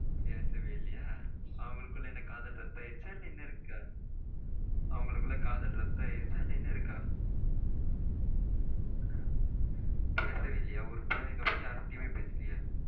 பேசவே இல்லையா? அவங்களுக்குள்ள என்ன காதல் ரத்து ஆகிடுச்ச இல்ல இன்னும் இருக்கா? அவங்களுக்கு காதல் ரத்து ஆகிடுச்ச இல்ல இன்னும் இருக்கா பேசவே இல்லையா? ஊருக்கு போனதுக்கப்புறம் யாருகிட்டயும் பேசவே இல்லையா?